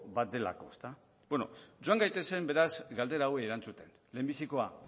bat delako bueno joan gaitezen beraz galdera hauei erantzuten lehenbizikoa